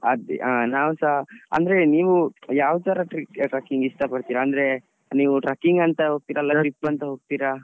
ಅದೆ ಹ ನವ್ಸಾ ಅಂದ್ರೆ ನೀವು ಯಾವ ತರ trekking ಇಷ್ಟ ಪಡ್ತಿರಾ? ಅಂದ್ರೆ ನೀವು trekking ಅಂತ ಹೋಗ್ತೀರಾ ಅಲ್ಲ trip ಅಂತ ಹೋಗ್ತೀರಾ?